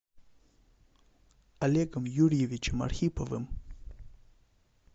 олегом юрьевичем архиповым